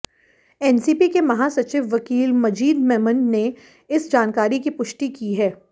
NCP के महासचिव वकील मजीद मेमन ने इस जानकारी की पुष्टि की है